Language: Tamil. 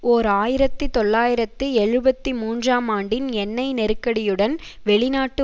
ஓர் ஆயிரத்தி தொள்ளாயிரத்தி எழுபத்தி மூன்றாம் ஆண்டின் எண்ணெய் நெருக்கடியுடன் வெளிநாட்டு